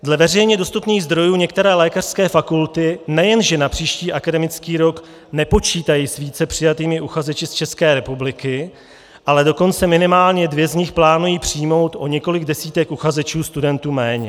Dle veřejně dostupných zdrojů některé lékařské fakulty nejen že na příští akademický rok nepočítají s více přijatými uchazeči z České republiky, ale dokonce minimálně dvě z nich plánují přijmout o několik desítek uchazečů studentů méně.